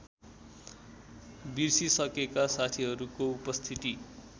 बिर्सिसकेका साथीहरूको उपस्थिति